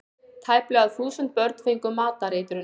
Tæplega þúsund börn fengu matareitrun